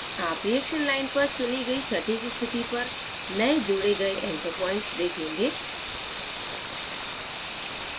आप reaction line पर चुनी गई सटीक स्थिति पर नए जोड़े गए anchor point देंखेगें